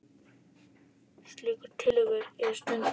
Slíkar tillögur eru stundum nefndar viðaukatillögur.